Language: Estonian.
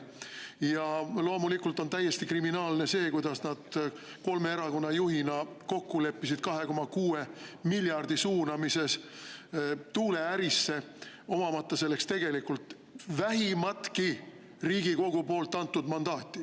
Ja loomulikult on täiesti kriminaalne see, kuidas kolme erakonna juhid leppisid kokku 2,6 miljardi euro suunamises tuuleärisse, omamata selleks tegelikult vähimatki Riigikogu poolt antud mandaati.